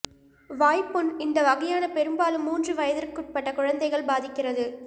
வாய்ப்புண் இந்த வகையான பெரும்பாலும் மூன்று வயதிற்குட்பட்ட குழந்தைகள் பாதிக்கிறது